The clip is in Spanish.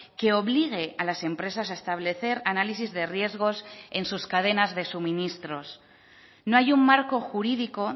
que obligue a las empresas a establecer análisis de riesgos en sus cadenas de suministros no hay un marco jurídico